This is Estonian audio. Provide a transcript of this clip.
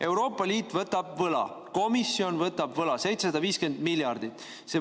Euroopa Liit võtab võla, komisjon võtab võla 750 miljardit.